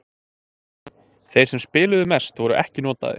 Þeir sem spiluðu mest voru ekki notaðir.